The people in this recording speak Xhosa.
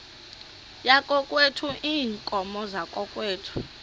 yakokwethu iinkomo zakokwethu